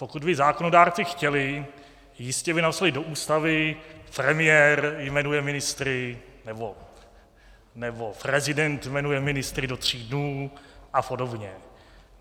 Pokud by zákonodárci chtěli, jistě by napsali do Ústavy: premiér jmenuje ministry nebo prezident jmenuje ministry do tří dnů a podobně.